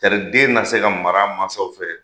Tari aden na se ka mara a mansaw fɛ